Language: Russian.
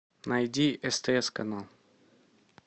найди стс канал